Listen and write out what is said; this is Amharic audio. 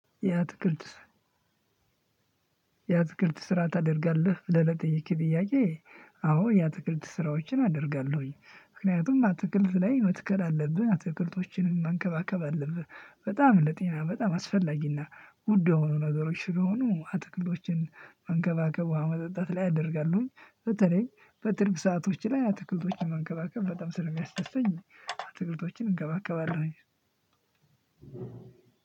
ያትክልት ስራ ታደርጋለህ ብለህ ለጠየከኝ ጥያቄ? አዎ ያትክልት ስራዎችን አደርጋለሁኝ ምክንያቱም አትክልት ላይ መትከል አለብህ አትክልቶችንም መንከባከብ አለብህ በጣም ለጤና በጣም አስፈላጊና ውድ ሆኖ ነገሮች ስለሆኑ አትክልቶችን መንከባከቡ ውሃ ማጠጣት ላይ አደርጋለሁኝ በተለይ በትርፍ ሰአቶች ላይ አትክልቶችን መንከባከብ በጣም ስለሚያስደስተኝ። አትክልቶችን እንከባከባለሁ።